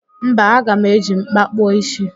Mba, aga m eji m̀kpá kpụọ ísí